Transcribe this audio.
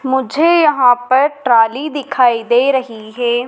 मुझे यहां पर ट्राली दिखाई दे रही है।